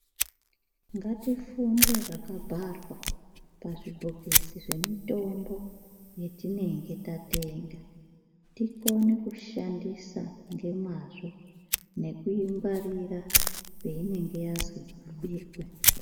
Ngatifunde zvakabharwa mazvibhokisi zvemitombo yatinenge tatenga Tikone kushandisa nemazvo nekuingwarira peinenge yanzi iikwe.